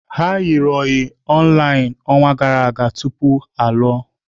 The ụbọchị online ọnwa gara aga tupu ịlụ.